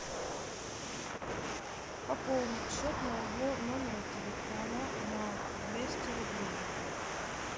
пополнить счет моего номера телефона на двести рублей